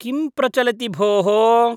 किं प्रचलति भोः?